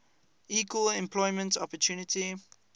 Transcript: equal employment opportunity